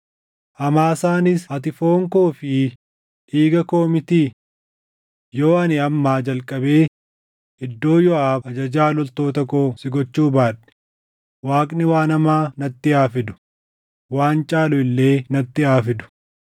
Amaasaanis, ‘Ati foonii fi dhiiga koo mitii? Yoo ani ammaa jalqabee iddoo Yooʼaab ajajaa loltoota koo si gochuu baadhe, Waaqni waan hamaa natti haa fidu; waan caalu illee natti haa fidu.’ ”